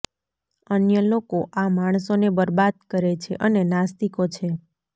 અન્ય લોકો આ માણસોને બરબાદ કરે છે અને નાસ્તિકો છે